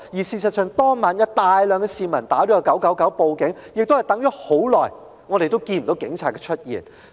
事實上，當晚有大量市民致電999報警，等候長時間，亦看不到警察出現。